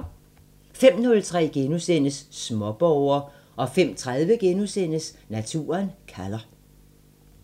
05:03: Småborger * 05:30: Naturen kalder *